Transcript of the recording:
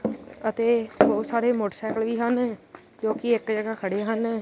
ਅਤੇ ਬਹੁਤ ਸਾਰੇ ਮੋਟਰਸਾਈਕਲ ਵੀ ਹਨ ਜੋ ਕਿ ਇੱਕ ਜਗਹਾ ਖੜੇ ਹਨ।